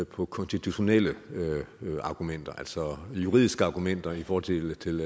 på konstitutionelle argumenter altså juridiske argumenter i forhold til til